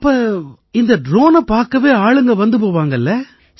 அப்ப இந்த ட்ரோனை பார்க்கவே ஆளுங்க வந்து போவாங்க இல்லை